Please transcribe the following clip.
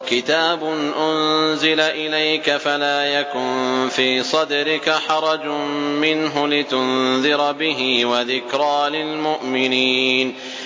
كِتَابٌ أُنزِلَ إِلَيْكَ فَلَا يَكُن فِي صَدْرِكَ حَرَجٌ مِّنْهُ لِتُنذِرَ بِهِ وَذِكْرَىٰ لِلْمُؤْمِنِينَ